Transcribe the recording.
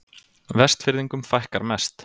Vestfirðingum fækkar mest